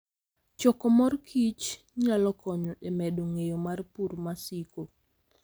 Choko mor kich nyalo konyo e medo ng'eyo mar pur masiko.